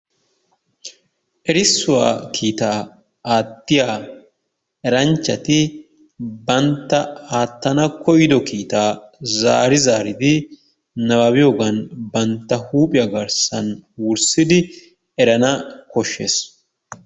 Erissuwaa kiitaa attiyaa eranchchati bantta aattana koyiido kiitaa zaari zaaridi nababiyoogan bantta huuphphiyaa garssaan wurssiidi erana koshshees.